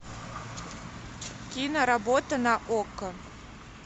киноработа на окко